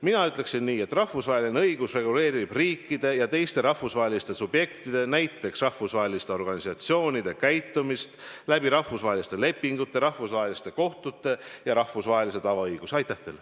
Mina ütleksin nii, et rahvusvaheline õigus reguleerib riikide ja teiste rahvusvaheliste subjektide, näiteks rahvusvaheliste organisatsioonide käitumist rahvusvaheliste lepingute, rahvusvaheliste kohtute ja rahvusvahelise tavaõiguse abil.